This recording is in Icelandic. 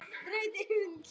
Sama gildir um afnámu.